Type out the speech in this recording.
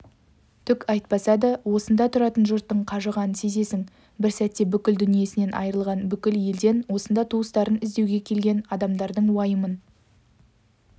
түк айтпаса да осында тұратын жұрттың қажығанын сезесің бір сәтте бүкіл дүниесінен айырылған бүкіл елден осында туыстарын іздеуге келген адамдардың уайымын